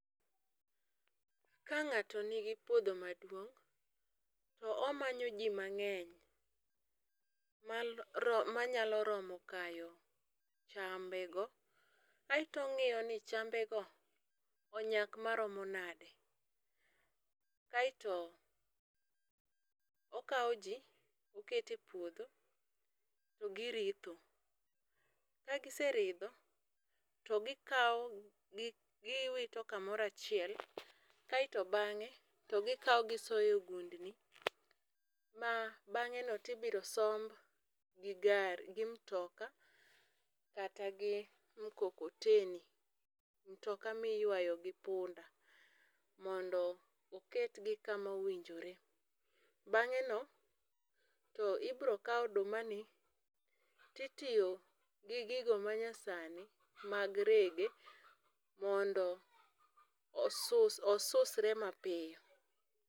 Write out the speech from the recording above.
Ka ng'ato nigi puodho maduong' to omanyo jii mangeny manyalo romo kayo chambe go aito ong'iyo ni chambe go onyak maromo nade, aito okaw jii oketo e puodho to giritho. Kagise ridho to gikaw giwito kamoro achiel kaito bang'e to gikaw gisoe gundni ma bang'e no to ibiro somb gi gari, gi mtoka kata gi mkokoteni, mtoka miywayo gi punda mondo oketgi kama owinjore. Bang'e no to ibiro kaw oduma ni titiyo gi gigo manyasani mag rege mondo osus, osusre mapiyo